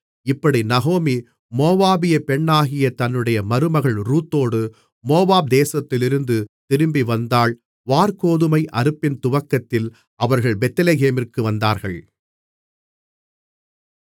இப்படி நகோமி மோவாபியப் பெண்ணாகிய தன்னுடைய மருமகள் ரூத்தோடு மோவாப் தேசத்திலிருந்து திரும்பிவந்தாள் வாற்கோதுமை அறுப்பின் துவக்கத்தில் அவர்கள் பெத்லெகேமிற்கு வந்தார்கள்